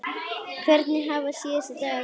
Hvernig hafa síðustu dagar verið?